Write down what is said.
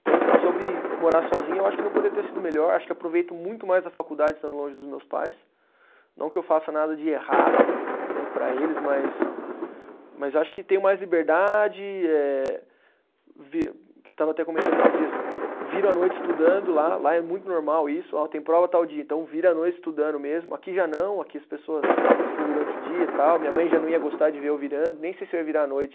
Então, sobre morar sozinho, eu acho que não poderia ter sido melhor, acho que aproveito muito mais a faculdade estando longe dos meus pais, não que eu faça nada de errado, né, para eles mas, mas acho que tenho mais liberdade eh, vi, estava até comentando esses dias, viro a noite estudando lá, lá é muito normal isso, ó tem prova tal dia, então viro a noite estudando mesmo, aqui já não, aqui as pessoas estudam durante o dia tal, minha mãe já não ia gostar de ver eu virando, nem sei se eu ia virar a noite